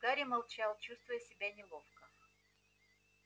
гарри молчал чувствуя себя неловко